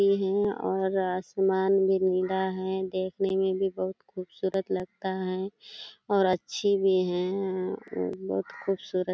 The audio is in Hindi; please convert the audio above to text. ये है और आसमान भी नीला है देखने में भी बहुत खूबसूरत लगता है और अच्छी भी है और बहुत खूबसूरत --